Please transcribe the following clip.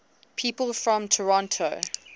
people from toronto